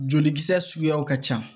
Jolikisɛ suguyaw ka ca